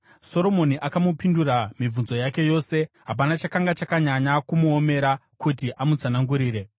Soromoni akamupindura mibvunzo yake yose, hapana chakanga chakanyanya kumuomera kuti amutsanangurire.